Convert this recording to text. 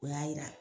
O y'a yira